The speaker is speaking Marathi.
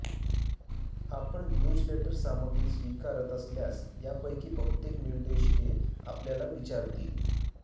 आपण न्यूझलेटर सामग्री स्वीकारत असल्यास यापैकी बहुतेक निर्देशिके आपल्याला विचारतील